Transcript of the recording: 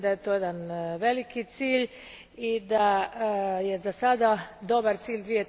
Mislim da je to jedan veliki cilj i da je za sada dobar cilj